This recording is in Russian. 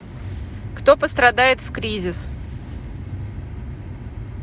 кто пострадает в кризис